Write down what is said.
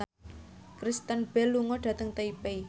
Kristen Bell lunga dhateng Taipei